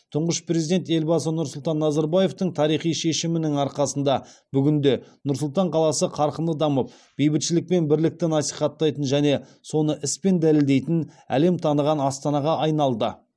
тұңғыш президент елбасы нұрсұлтан назарбаевтың тарихи шешімінің арқасында бүгінде нұр сұлтан қаласы қарқынды дамып бейбітшілік пен бірлікті насихаттайтын және соны іспен дәлелдейтін әлем таныған астанаға айналды